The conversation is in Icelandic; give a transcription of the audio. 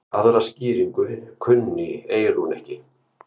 Aðra skýringu kunni Eyrún ekki.